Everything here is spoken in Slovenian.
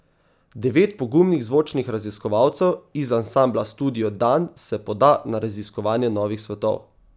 Devet pogumnih zvočnih raziskovalcev iz Ansambla Studio Dan se poda na raziskovanje novih svetov.